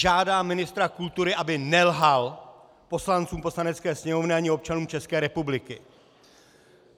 Žádám ministra kultury, aby nelhal poslancům Poslanecké sněmovny ani občanům České republiky!